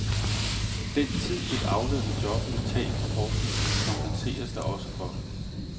Den tid et aflønnet job ville tage fra forskningen, kompenseres der også for.